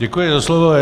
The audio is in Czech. Děkuji za slovo.